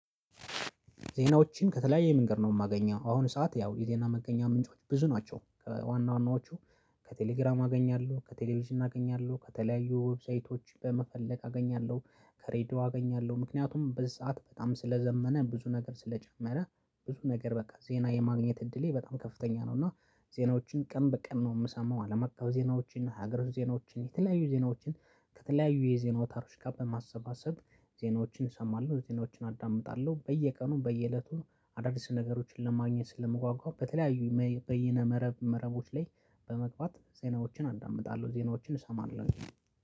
ዜናዎችን ከተለያየ መንገድ ነው የማገኘው አሁን ሰዓት ያው የዜና መገኛ ምንጮች ብዙ ናቸው ከዋና ዋናዎቹ። ከቴሌግራም አገኛለ፤ ከቴሌቪዥን አገኛለሁ፤ ከተለያዩ ዌብሳይቶች በመፈለግ አገኛለሁ፤ ከሬዲዮ አገኛለሁ። ምክንያቱም በሰአት በጣም ስለዘመነ ብዙ ነገር ስለጀመረ ብዙ ነገር በቃ ዜና የማግኘት እድሌ በጣም ከፍተኛ ነው። እና ዜናዎችን ቀን በቀን ነው የምሰማው አለማቀፍ ዜናዎችን እና ሀገር ዜናዎችን የተለያዩ ዜናዎችን ከተለያዩ የዜና ወታሮች ጋር በማሰባሰብ ዜናዎችን እሰማለሁ። ዜናዎችን አዳምጣለሁ በየቀኑ በየእለቱ አዳዲስ ነገሮችን ለማግኘት ስለምጓጓም በተለያዩ በይነ መረብ መረቦች ላይ በመግባት ዜናዎችን አንዳምጣለሁ ዜናዎችን እሰማለሁ።